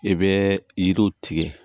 I bɛ yiriw tigɛ